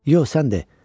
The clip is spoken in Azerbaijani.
Yox, sən de.